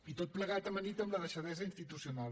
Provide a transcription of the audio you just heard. i tot plegat amanit amb la deixadesa institucional